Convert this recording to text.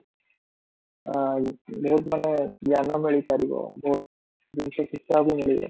ଆଁ ବହୁତ ମାନେ ଜ୍ଞାନ ମିଳିପାରିବ, ବହୁତ ଜିନିଷ ଶିଖିବାକୁ ମିଳିବ